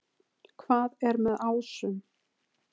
Hvað er með ásum?